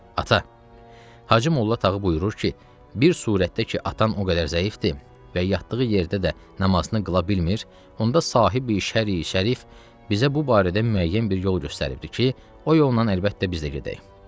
Ata, Hacımolla Tağı buyurur ki, bir surətdə ki, atan o qədər zəifdir və yatdığı yerdə də namazını qıla bilmir, onda sahib-i Şərri Şərif bizə bu barədə müəyyən bir yol göstəribdir ki, o yoldan əlbəttə biz də gedək.